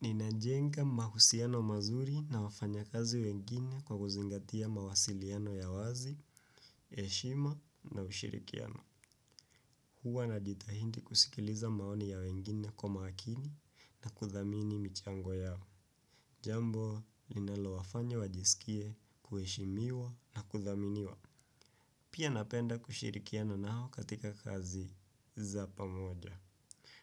Ninajenga mahusiano mazuri na wafanya kazi wengine kwa kuzingatia mawasiliano ya wazi, heshima na ushirikiano. Huwa najitahindi kusikiliza maoni ya wengine kwa makini na kuthamini michango yao. Jambo, linalowafanya wajisikie, kuheshimiwa na kuthaminiwa. Pia napenda kushirikiana nao katika kazi za pamoja.